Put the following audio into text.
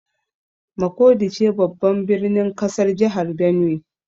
Makurdi ce babban birnin kasar Jihar Benue.